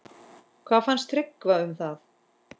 Hvað fannst Tryggva um það?